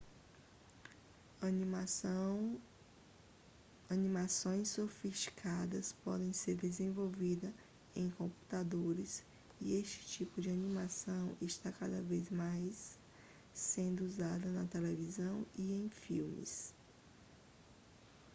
animações sofisticadas podem ser desenvolvidas em computadores e este tipo de animação está cada vez mais sendo usado na televisão e em filmes